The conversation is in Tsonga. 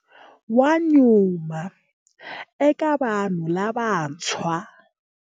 Wa nyuma eka vanhu lavantshwa.